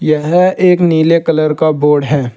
यह एक नीले कलर का बोर्ड है।